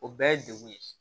O bɛɛ ye degun ye